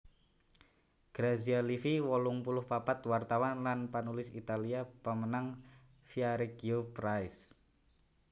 Grazia Livi wolung puluh papat wartawan lan panulis Italia pamenang Viareggio Prize